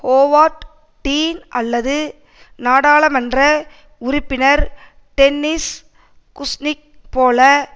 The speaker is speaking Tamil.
ஹோவார்ட் டீன் அல்லது நாடாளுமன்ற உறுப்பினர் டென்னிஸ் குசினிக் போல